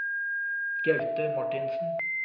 Gaute Marthinsen